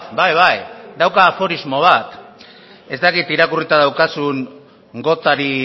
bai bai dauka aforismo bat ez dakit irakurrita daukazun gothari